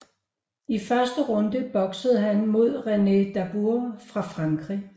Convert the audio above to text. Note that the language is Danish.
I første runde boksede han mod René Darbou fra Frankrig